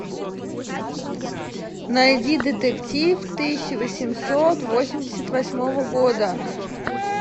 найди детектив тысяча восемьсот восемьдесят восьмого года